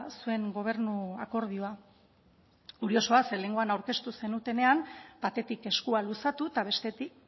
zuen gobernu akordioa kuriosoa ze lehengoan aurkeztu zenutenean batetik eskua luzatu eta bestetik